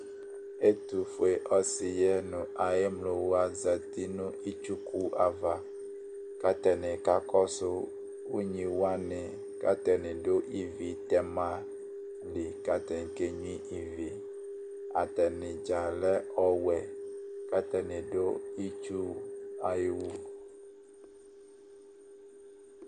ɛtu fue ɔsi yɛ nu ayi emlo wʋa zati nu itsuku ava ku ata ni ka kɔsu ugni wʋani ku ata ni du ivi tɛma di ku ata ni ke gnʋa ivi, ata ni dza lɛ ɔwɛ, ku ata ni du itsu ayu